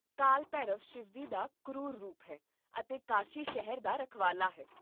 ਕਾਲ ਭੈਰਵ ਸ਼ਿਵਜੀ ਦਾ ਕਰੂਰ ਰੂਪ ਹੈ ਅਤੇ ਕਾਸ਼ੀ ਸ਼ਹਿਰ ਦਾ ਰਖਵਾਲਾ ਹੈ